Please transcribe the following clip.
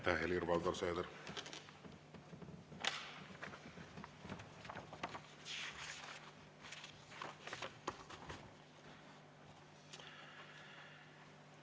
Aitäh, Helir-Valdor Seeder!